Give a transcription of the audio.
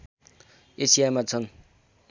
एसियामा छन्